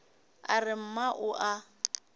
a re mma o a